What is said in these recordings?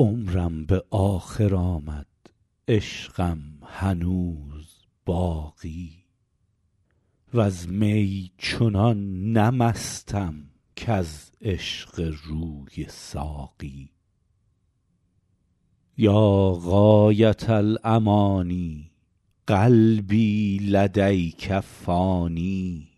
عمرم به آخر آمد عشقم هنوز باقی وز می چنان نه مستم کز عشق روی ساقی یا غایة الأمانی قلبی لدیک فانی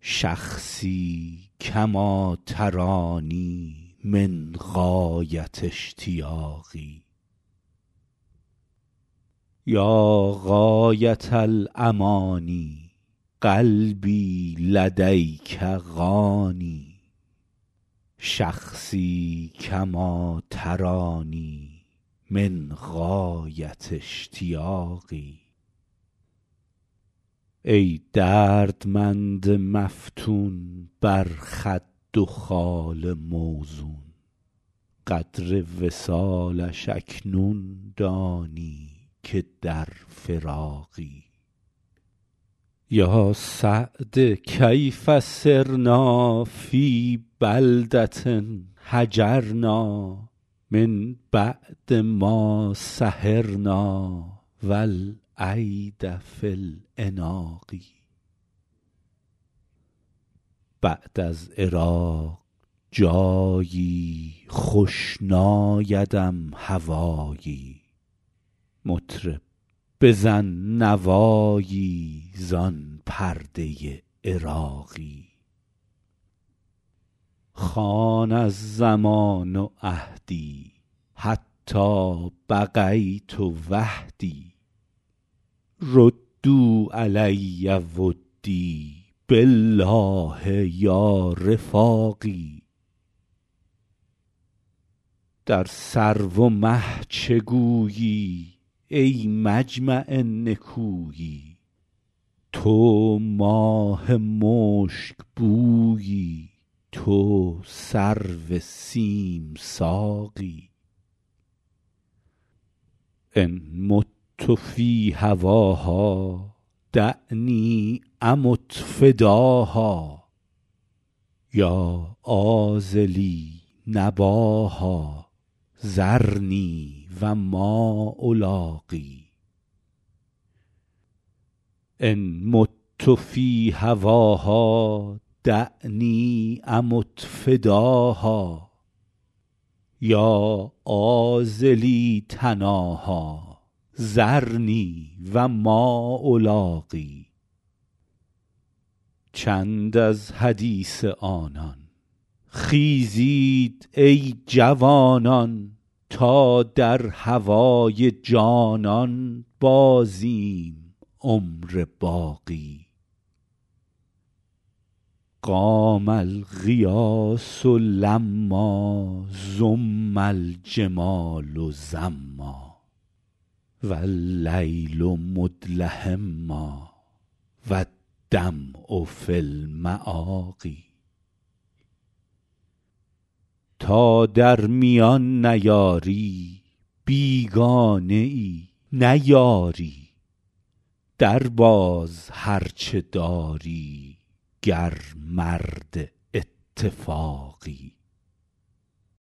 شخصی کما ترانی من غایة اشتیاقی ای دردمند مفتون بر خد و خال موزون قدر وصالش اکنون دانی که در فراقی یا سعد کیف صرنا فی بلدة هجرنا من بعد ما سهرنا و الایدی فی العناق بعد از عراق جایی خوش نایدم هوایی مطرب بزن نوایی زان پرده عراقی خان الزمان عهدی حتی بقیت وحدی ردوا علی ودی بالله یا رفاقی در سرو و مه چه گویی ای مجمع نکویی تو ماه مشکبویی تو سرو سیم ساقی ان مت فی هواها دعنی امت فداها یا عاذلی نباها ذرنی و ما الاقی چند از حدیث آنان خیزید ای جوانان تا در هوای جانان بازیم عمر باقی قام الغیاث لما زم الجمال زما و اللیل مدلهما و الدمع فی المآقی تا در میان نیاری بیگانه ای نه یاری درباز هر چه داری گر مرد اتفاقی